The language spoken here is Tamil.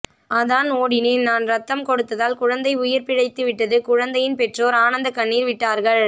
அதான் ஓடினேன் னான் ரத்தம் கொடுத்ததால் குழந்தை உயிர் பிழைத்துவிட்டது குழந்தையின் பெற்றோர் ஆனத்தக்கண்ணீர் விட்டார்கள்